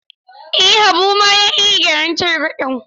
Eh, Habu ma ya iya gyaran targaɗen.